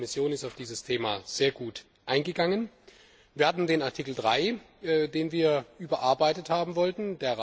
Die Kommission ist auf dieses Thema sehr gut eingegangen. Wir hatten den Artikel 3, den wir überarbeitet haben wollten.